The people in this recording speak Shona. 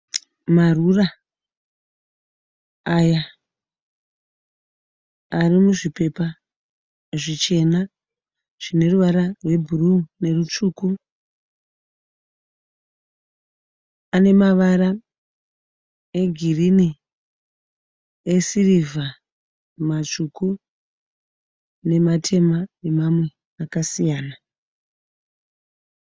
Marura aya ari muzvipepa zvichena zvine ruvara rwebhuruu nerutsvuku ane mavara egirini, esirivha matsvuku nematema nemamwe akasiyana.